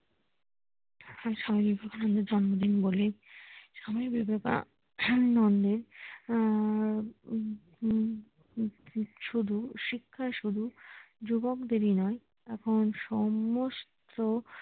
স্বামী বিবেকানন্দ এর জন্মদিন বলেই স্বামী বিবেকানন্দ এর হম হম শুধু শিক্ষাই শুধু যুবকদেরই নোয়ে এখন সমস্ত